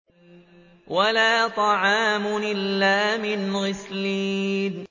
وَلَا طَعَامٌ إِلَّا مِنْ غِسْلِينٍ